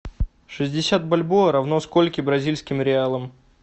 шестьдесят бальбоа равно скольки бразильским реалам